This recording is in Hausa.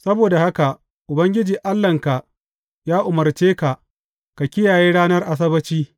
Saboda haka Ubangiji Allahnka ya umarce ka ka kiyaye ranar Asabbaci.